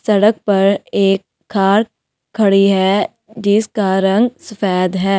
सड़क पर एक कार खड़ी है जिसका रंग सफेद है।